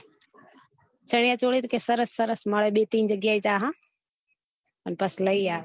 ચણીયચોલી તો કે સરસ સરસ મળે બે ત્રણ જગ્યા ત્યાં હા અને પછી લઇ આવે